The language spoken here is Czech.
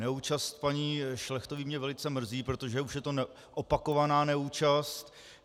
Neúčast paní Šlechtové mě velice mrzí, protože už je to opakovaná neúčast.